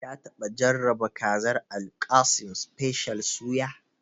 Ka taɓa jarraba kazar Alkassim special suya?